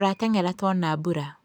Tũrateng'era tuona mbura